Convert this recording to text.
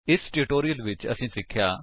ਇਸ ਟਿਊਟੋਰਿਅਲ ਵਿੱਚ ਅਸੀਂ ਸਿੱਖਿਆ